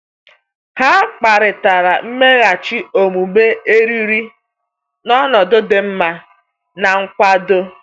Ha kparịtara mmeghachi omume eriri n’ọnọdụ dị mma na nkwado.